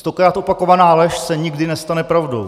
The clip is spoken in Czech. Stokrát opakovaná lež se nikdy nestane pravdou.